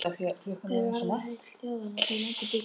Þau varða heill þjóðanna sem löndin byggja.